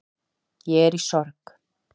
Ég er í sorg